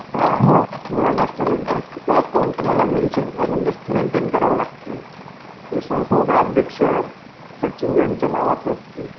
हा. तुम्हाला नॅशनलाईझ बँकेचं अकाउंट तुम्हाला मेंशन म्हणजे मेंटेन करावे लागते. जे संस्थेचा अध्यक्ष, सचिव यांचा नावाचं असते.